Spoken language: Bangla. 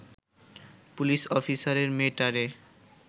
পুলিশ অফিসারের মেয়েটারে